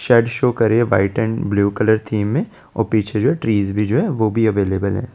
Shirt show कर रही है white and blue colour theme में और पीछे जो है ट्रीज जो है वो भी अवेलेबल है।